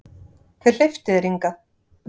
Hver hleypti þér hingað?